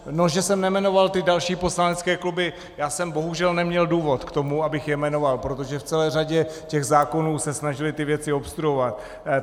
No, že jsem nejmenoval ty další poslanecké kluby, já jsem bohužel neměl důvod k tomu, abych je jmenoval, protože v celé řadě těch zákonů se snažily ty věci obstruovat.